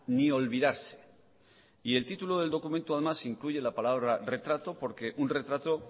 ni olvidarse y el título del documento además incluye la palabra retrato porque un retrato